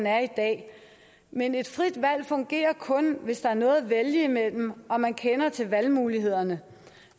er i dag men et frit valg fungerer kun hvis der er noget at vælge imellem og man kender til valgmulighederne